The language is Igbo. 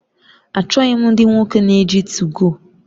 Achọghị m ndị nwoke na-eji 2go